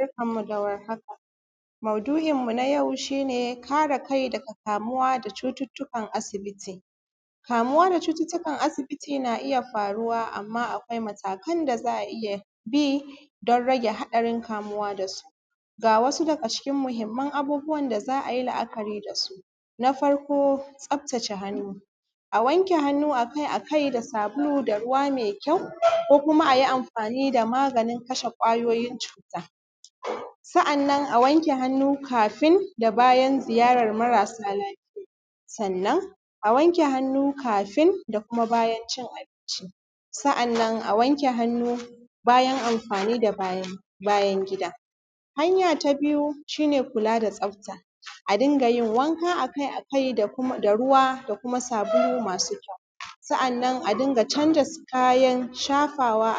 Barkanmu da warhaka maudu’in mu na yau shi ne kare kai daga kamuwa da cututtukan asibiti, kamuwa da cututtukan asibiti yana iya kamuwa amma akwai matakan da za a iya bi don rage haɗarin kamuwa da su. Ga wasu daga cikin muhinman abubuwan da za a yi la’akari da su na farko tsaftace hannu, a wanke hannu akai-akai da sabulu da ruwa me kyau ko kuma a yi amfani da maganin kashe kwayoyim cuta, sa’annan a wanke hannu kafin da bayan ziyarar marasa lafiya sannan a wanke hannu kafin kuma bayan cin abinci sa’annan a wanke hannu bayan amfani da bayan gida, hanya ta biyu shi ne kula da tsafta a dinga yin wanka akai-akai da ruwa da kuma sabulu masu kyau, sa’annan a dinga canza kayan shafawa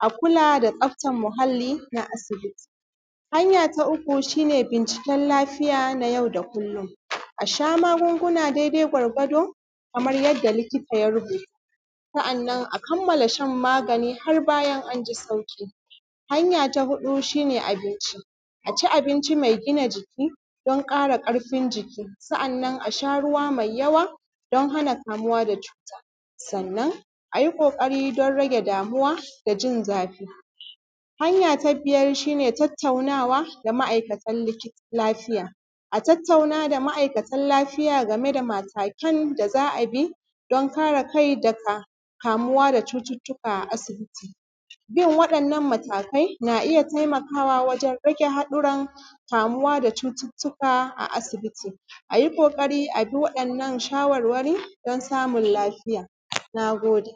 a kula da tsaftan muhalli na asibiti. Hanya ta uku shi ne binciken lafiya na yau da kullum, a sha magunguna daidai gwargwado kamar yadda likita ya rubuta, sa’annan a kammala shan magani har a ji sauƙi, hanya ta huɗu shi ne abinci a me gina jiki don ƙara ƙarfin jiki sa’annan a sha ruwa me yawa don hana kamuwa da cuta, sannan a yi ƙoƙari don rage damuwa da jin zafi. Hanya ta biyar shi ne tattaunawa da ma’aikatan likita lafiya, a tattauna da ma’aikatan lafiya game da matakan da za a bi don kare kai daga kamuwa da cututtuka a sibiti, bin waɗannan matakai na iya taimakawa wajen rage haɗuran kamu wa da cututtuka a asibiti, a yi ƙoƙari a bi waɗannan shawarwari don samun lafiya. Na gode.